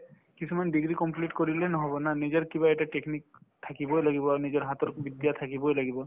কিছুমান degree complete কৰিলে নহব না নিজৰ কিবা এটা technique থাকিবয়ে লাগিব আৰু নিজৰ হাতৰ বিদ্যা থাকিবয়ে লাগিব